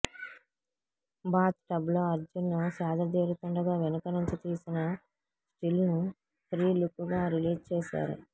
bath tub లో అర్జున్ సేదదీరుతుండగా వెనుక నుంచి తీసిన స్టిల్ ను ప్రీ లుక్ గా రిలీజ్ చేశారు